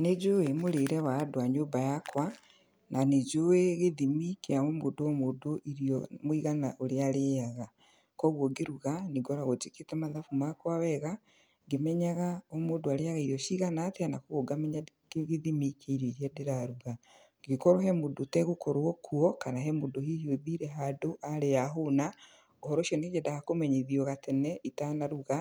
Nĩ njũĩ mũrĩre wa andũ a nyũmba yakwa, na nĩ njũĩ gĩthimi kĩa o mũndũ o mũndũ irio mũigana ũrĩa arĩaga. Koguo ngĩruga nĩ ngoragwo njĩkĩte mathabu makwa wega, ngĩmenyaga o mũndũ arĩaga irio cigana atĩa na koguo ngamenya gĩthimi kĩa irio iria ndĩraruga. Angĩkorwo he mũndũ ũtegũkorwo kuo, kana hihi he mũndũ ũthiire handũ arĩa ahũna, ũhoro ũcio nĩ nyendaga kũmenyithio gatene itanaruga,